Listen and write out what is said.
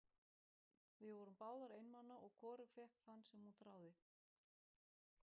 Við vorum báðar einmana og hvorug fékk þann sem hún þráði.